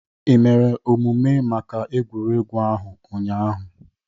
Ị mere omume maka egwuregwu ahụ ụnyahụ?